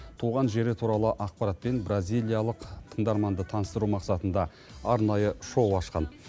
туған жері туралы ақпаратпен бразилиялық тыңдарманды таныстыру мақсатында арнайы шоу ашқан